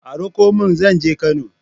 A Raƙumin zan je Kano